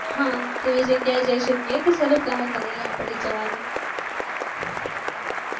હા તે જગ્યા એ જાય શકીએ રતો ચાલો plan બનાઈયે અપડે javano